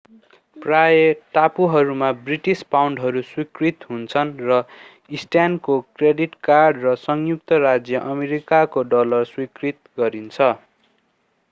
प्राय टापुहरूमा ब्रिटिश पाउन्डहरू स्वीकृत हुन्छन् र स्टानको क्रेडिट कार्ड र संयुक्त राज्य अमेरिकाको डलर स्वीकार गरिन्छ